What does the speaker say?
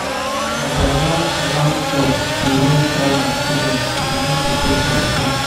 na di alarm alarm clock dey wake all my children to begin prepare for school.